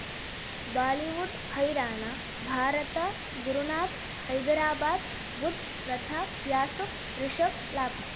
Bollywood ಹೈರಾಣ ಭಾರತ ಗುರುನಾಥ್ ಹೈದರಾಬಾದ್ ಬುಧ್ ಪ್ರತಾಪ್ ಯಾಸುಫ್ ರಿಷಬ್ ಲಾಭ